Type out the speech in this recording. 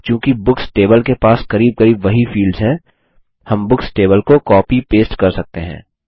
अब चूँकि books table के पास करीब करीब वही फील्ड्स हैं हम बुक्स टेबल को कॉपी पेस्ट कर सकते हैं